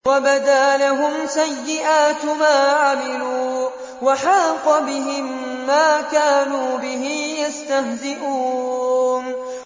وَبَدَا لَهُمْ سَيِّئَاتُ مَا عَمِلُوا وَحَاقَ بِهِم مَّا كَانُوا بِهِ يَسْتَهْزِئُونَ